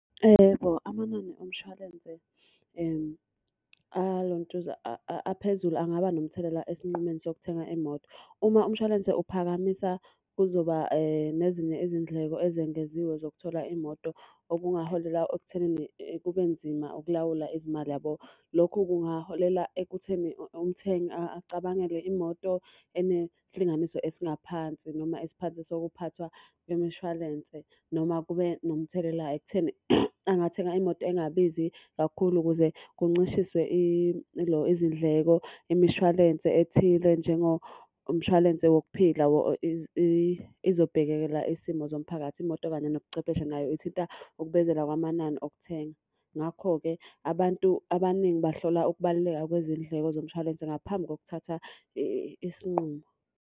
Yebo, amanani omshwalense alontuza aphezulu angaba nomthelela esinqumeni sokuthenga imoto. Uma umshwalense uphakamisa, kuzoba nezinye izindleko ezengeziwe zokuthola imoto okungaholela ekuthenini kube nzima ukulawula izimali yabo. Lokhu kungaholela ekutheni umthengi acabangele imoto enesilinganiso esingaphansi noma esiphansi sokuphathwa kwemishwalense. Noma kube nomthelela ekutheni angathenga imoto engabizi kakhulu ukuze kuncishiswe ilo izindleko. Imishwalense ethile njengomshwalense wokuphila izobhekelela isimo zomphakathi. Imoto kanye nobuchwepheshe nayo ithinta ukubenzela kwamanani okuthenga. Ngakho-ke abantu abaningi bahlola ukubaluleka kwezindleko zomshwalense ngaphambi kokuthatha isinqumo.